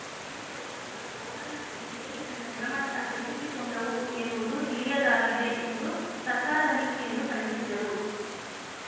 ಈ ಸೈಕಲ್‌ಗಳು ಗೋಡನ್‌ ನಲ್ಲಿ ಹೇಗೆ ತನ್ನ ಗುಣಮಟ್ಟಹೆಚ್ಚಿಸಿ ಕೊಂಡವು ಎಂಬುದು ತಿಳಿಯದಾಗಿದೆ ಎಂದು ಸರ್ಕಾರದ ನೀತಿಯನ್ನು ಖಂಡಿಸಿದರು